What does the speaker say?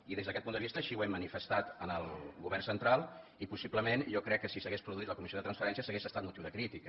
i des d’aquest punt de vista així ho hem manifestat al govern central i possiblement jo crec que si s’hagués produït la comissió de transferències hauria estat motiu de crítica